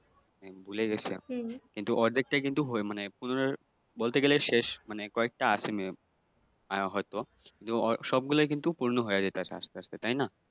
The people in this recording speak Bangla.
ভুলে গেছি । কিন্তু অর্ধেকটই কিন্তু মানে বলতে গেলে শেষ মানে কয়েকটা আছে may be হয়তো সবগুলা কিন্তু পূর্ন হইয়া যাইতাছে আস্তে আস্তে তাইনা।